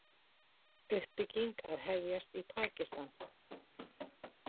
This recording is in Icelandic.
Uppbygging að hefjast í Pakistan